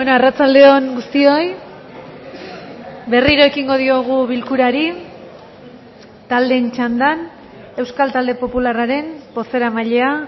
arratsalde on guztioi berriro ekingo diogu bilkurari taldeen txandan euskal talde popularraren bozeramailea